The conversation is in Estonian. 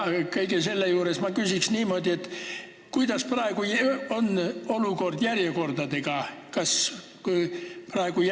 Kõige selle peale ma küsiksin niimoodi: kuidas on praegu olukord järjekordadega?